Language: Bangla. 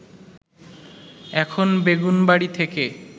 এখন বেগুনবাড়ি থেকে